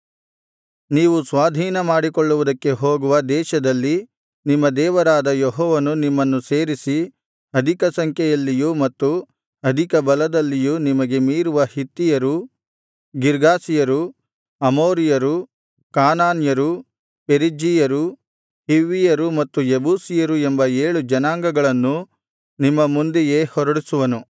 ನೀವು ಸ್ವಾಧೀನಮಾಡಿಕೊಳ್ಳುವುದಕ್ಕೆ ಹೋಗುವ ದೇಶದಲ್ಲಿ ನಿಮ್ಮ ದೇವರಾದ ಯೆಹೋವನು ನಿಮ್ಮನ್ನು ಸೇರಿಸಿ ಅಧಿಕ ಸಂಖ್ಯೆಯಲ್ಲಿಯೂ ಮತ್ತು ಅಧಿಕ ಬಲದಲ್ಲಿಯೂ ನಿಮಗೆ ಮೀರುವ ಹಿತ್ತಿಯರು ಗಿರ್ಗಾಷಿಯರು ಅಮೋರಿಯರು ಕಾನಾನ್ಯರು ಪೆರಿಜ್ಜೀಯರು ಹಿವ್ವಿಯರು ಮತ್ತು ಯೆಬೂಸಿಯರು ಎಂಬ ಏಳು ಜನಾಂಗಗಳನ್ನು ನಿಮ್ಮ ಮುಂದೆಯೇ ಹೊರಡಿಸುವನು